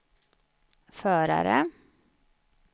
förare